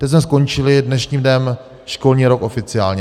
Teď jsme skončili dnešním dnem školní rok oficiálně.